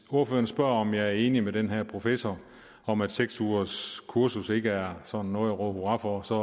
ordføreren spørger om jeg er enig med den her professor om at seks ugerskurser ikke er sådan noget at råbe hurra for så